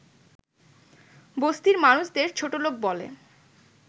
বস্তির মানুষদের ছোটলোক বলে